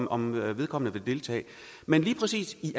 om vedkommende vil deltage men lige præcis i